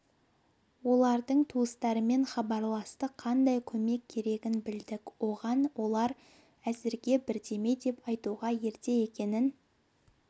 олардың туыстарымен хабарластық қандай көмек керегін білдік оған олар әзірге бірдеме деп айтуға ерте екенін